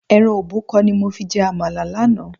Ẹran òbúkọ ni mo fi jẹ àmàlà lánàá.